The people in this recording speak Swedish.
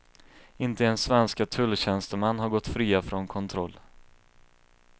Inte ens svenska tulltjänstemän har gått fria från kontroll.